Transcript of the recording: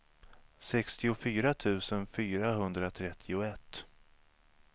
sextiofyra tusen fyrahundratrettioett